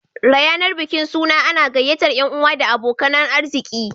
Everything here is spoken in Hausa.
Rayanar bikin suna ana gyayyatar yan'uwa da abokanan arziki